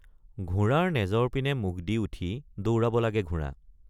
ঘোঁৰাৰ নেজৰ পিনে মুখ দি উঠি দৌৰাব লাগে ঘোঁৰা।